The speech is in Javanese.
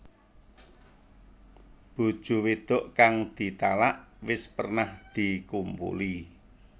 Bojo wedok kang ditalak wis pernah dikumpuli